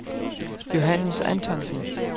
Johannes Antonsen